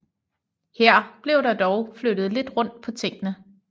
Her blev der dog flyttet lidt rundt på tingene